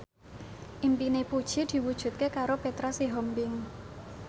impine Puji diwujudke karo Petra Sihombing